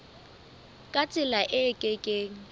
ka tsela e ke keng